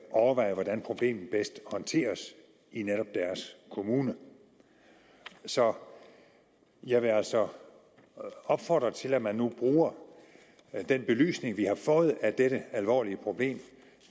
overveje hvordan problemet bedst håndteres i netop deres kommune så jeg vil altså opfordre til at man nu bruger den belysning vi har fået af det alvorlige problem